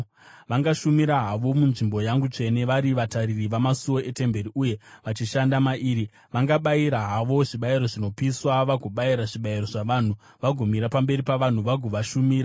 Vangashumira havo munzvimbo yangu tsvene, vari vatariri vamasuo etemberi uye vachishanda mairi; vangabayira havo zvibayiro zvinopiswa vagobayira zvibayiro zvavanhu, vagomira pamberi pavanhu vagovashumira.